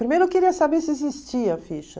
Primeiro eu queria saber se existia a ficha.